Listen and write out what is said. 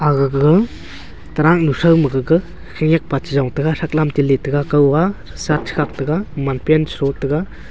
aga gaga taruck throu ma gaga khenyak pa chejong taiga thrak lam te litaiga kaw a shirt chekhak tega man pant chethro tega.